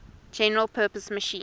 general purpose machine